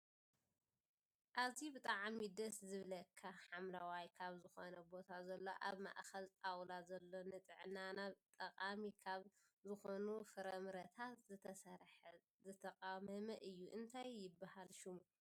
ኣዝዩ ብጣዕሚ ደስ ዝብለካ ሓምለዋይ ካብ ዝኮነ ቦታ ዘሎ ኣብ ማእከል ጣውላ ዘሎ ንጥዕናና ጠቃሚ ካብ ዝኮኑ ፈረምረታት ዝተሰረሐ ዝተቃመመ እዩ እንታይ ይብሃል ሽሙ?